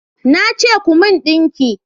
Na ce ku mun dinki!